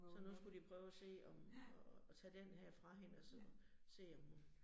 Så nu skulle de prøve at se om, at at tage denne her fra hende, og så se, om hun